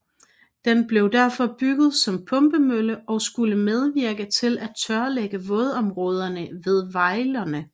Den blev derfor bygget som pumpemølle og skulle medvirke til at tørlægge vådområderne ved Vejlerne